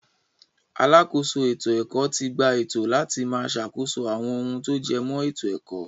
Alákòóso ètò-ẹ̀kọ́ ti gba ẹ̀tọ́ láti máa sàkóso àwọn ohun tó jẹmọ́ ètò-ẹ̀kọ́.